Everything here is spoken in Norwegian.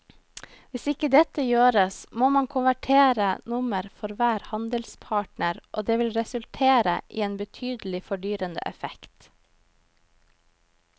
Hvis ikke dette gjøres må man konvertere nummer for hver handelspartner og det vil resultere i en betydelig fordyrende effekt.